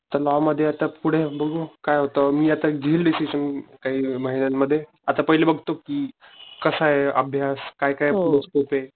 चला लॉ मध्ये पुढे बघू काय होतंय मी घेईल आता डिसिजन काही महिन्यानं मध्ये. आता पहिले बघतो कि कसाय अभ्यास काय काय पुढ स्कोपे